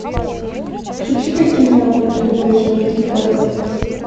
включи ка киноработу любовь живет три года